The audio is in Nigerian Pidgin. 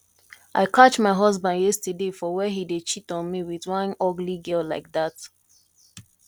i catch my husband yesterday for where he dey cheat on me with one ugly girl like dat